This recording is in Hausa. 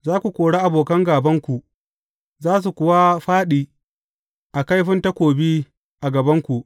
Za ku kori abokan gābanku, za su kuwa fāɗi a kaifin takobi a gabanku.